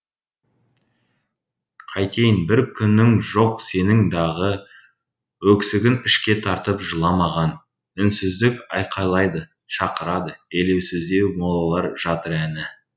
қайтейін бір күнің жоқ сенің дағы өксігін ішке тартып жыламаған үнсіздік айқайлайды шақырады елеусіздеу молалар жатыр әні